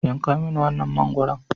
Yanka mini wannan mangwaron.